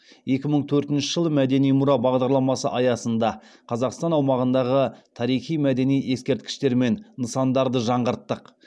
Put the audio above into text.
екі мың төртінші жылы мәдени мұра бағдарламасы аясында қазақстан аумағындағы тарихи мәдени ескерткіштер мен нысандарды жаңғырттық